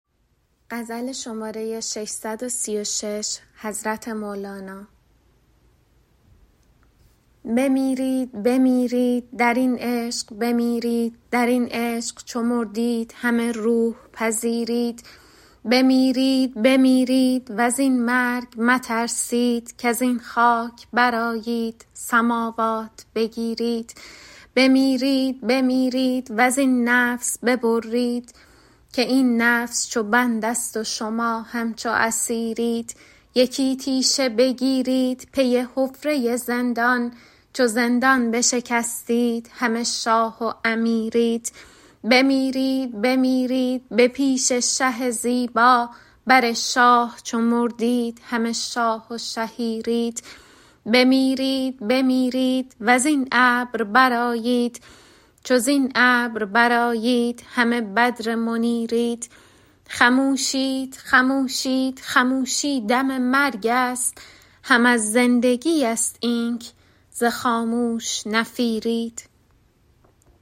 بمیرید بمیرید در این عشق بمیرید در این عشق چو مردید همه روح پذیرید بمیرید بمیرید و زین مرگ مترسید کز این خاک برآیید سماوات بگیرید بمیرید بمیرید و زین نفس ببرید که این نفس چو بندست و شما همچو اسیرید یکی تیشه بگیرید پی حفره زندان چو زندان بشکستید همه شاه و امیرید بمیرید بمیرید به پیش شه زیبا بر شاه چو مردید همه شاه و شهیرید بمیرید بمیرید و زین ابر برآیید چو زین ابر برآیید همه بدر منیرید خموشید خموشید خموشی دم مرگست هم از زندگیست اینک ز خاموش نفیرید